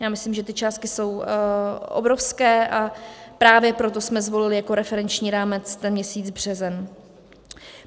Já myslím, že ty částky jsou obrovské, a právě proto jsme zvolili jako referenční rámec ten měsíc březen.